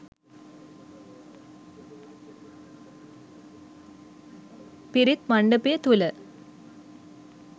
පිරිත් මණ්ඩපය තුළ